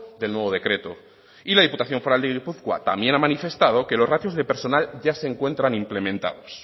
del nuevo decreto y la diputación foral de gipuzkoa también ha manifestado que los ratios de personal ya se encuentran implementados